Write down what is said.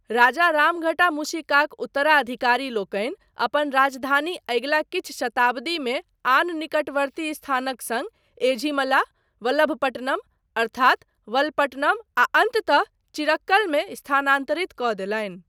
राजा रामघटा मूशिकाक उत्तराधिकारी लोकनि अपन राजधानी अगिला किछु शताब्दीमे आन निकटवर्ती स्थानक सङ्ग एझिमला, वलभपट्टनम अर्थात वलपट्टनम, आ अन्ततः चिरक्कलमे स्थानान्तरित कऽ देलनि।